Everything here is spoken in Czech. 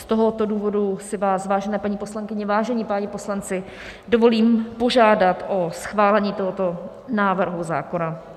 Z tohoto důvodu si vás, vážené paní poslankyně, vážení páni poslanci, dovolím požádat o schválení tohoto návrhu zákona.